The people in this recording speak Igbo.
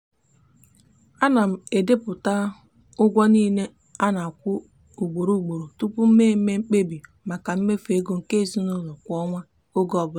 ana m edepụta ụgwọ niile a na-akwụ ugboro ugboro tupu m mee mkpebi maka mmefu ego nke ezinụụlọ kwa ọnwa oge ọbụla.